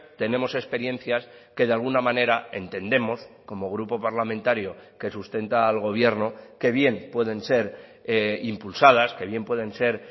tenemos experiencias que de alguna manera entendemos como grupo parlamentario que sustenta al gobierno que bien pueden ser impulsadas que bien pueden ser